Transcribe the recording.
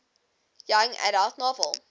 young adult novel